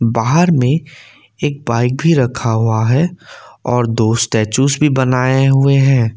बाहर में एक बाइक भी रखा हुआ है और दो स्टेच्यूस भी बनाए हुए हैं।